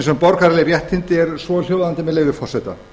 um borgaraleg réttindi er svohljóðandi með leyfi forseta